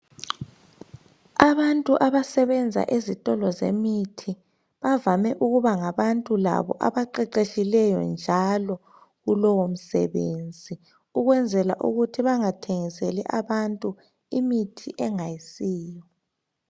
Abantu abasebenza ezitolo zemithi bavame ukuba ngabantu labo abaqeqetshileyo njalo kulowo msebenzi ukwenzela ukuthi bangathengiseli abantu imithi engayisiyo